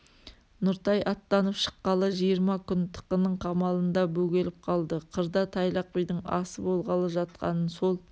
нұртай аттанып шыққалы жиырма күн тықының қамалында бөгеліп қалды қырда тайлақ бидің асы болғалы жатқанын сол